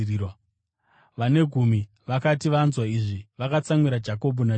Vane gumi vakati vanzwa izvi, vakatsamwira Jakobho naJohani.